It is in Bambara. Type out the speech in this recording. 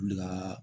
Wuli ka